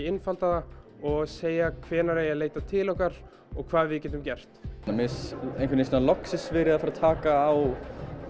einfalda það og segja hvenær eigi að leita til okkar og hvað við getum gert mér finnst einhvern veginn loksins verið að fara að taka á